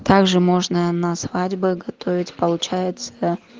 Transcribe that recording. также можно на свадьбы готовить получается